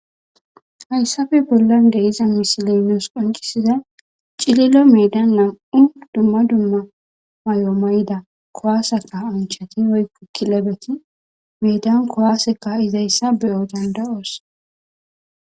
hayssappe bollon de'iza misiley nus qoncisizay cililo medan nam'u dumma dumma mayo mayda kuwaase kasanchat woykko kilebeti medan kuwase ka'izayssa beyo danda'os